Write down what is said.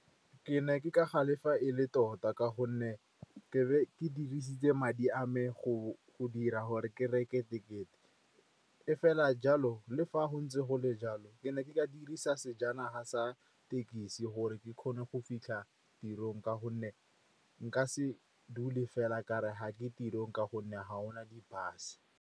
Ke ne ke ka galefa e le tota, ka gonne ke dirisitse madi a me go dira gore ke reke tekete. E fela jalo, le fa go ntse jalo, ke ne ke ka dirisa sejanaga sa thekisi gore ke kgone go fitlha tirong, ka gonne nka se dule fela kare ga ke tirong ka gonne ga go na di-bus.